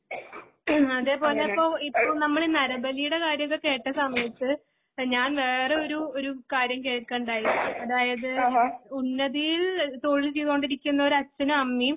ഉം അതേപോലെയിപ്പോ ഇപ്പൊ നമ്മളിന്ന് നരബലിയുടെ കാര്യമൊക്കെ കേട്ട സമയത്തു ഞാൻ വേറെയൊരു ഒരു ഒരു കാര്യംകെക്കയുണ്ടായി അതായത് ഉന്നതിയിൽ തൊഴിൽ ചെയ്തോണ്ടിരിക്കുന്ന ഒരു അച്ഛനുംഅമ്മയും